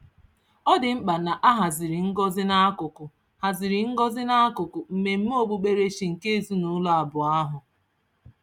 Ọ dị mkpa na a haziri ngọzi n'akụkụ haziri ngọzi n'akụkụ mmemme okpukperechi nke ezinụụlọ abụọ ahụ.